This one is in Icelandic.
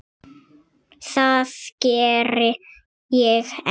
Það geri ég enn.